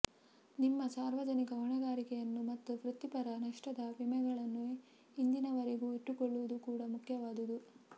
ನಿಮ್ಮ ಸಾರ್ವಜನಿಕ ಹೊಣೆಗಾರಿಕೆಯನ್ನು ಮತ್ತು ವೃತ್ತಿಪರ ನಷ್ಟದ ವಿಮೆಗಳನ್ನು ಇಂದಿನವರೆಗೂ ಇಟ್ಟುಕೊಳ್ಳುವುದು ಕೂಡಾ ಮುಖ್ಯವಾದುದು